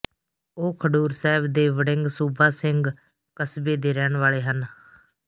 ਉਹ ਖਡੂਰ ਸਾਹਿਬ ਦੇ ਵੜਿੰਗ ਸੂਬਾ ਸਿੰਘ ਕਸਬੇ ਦੇ ਰਹਿਣ ਵਾਲੇ ਹਨ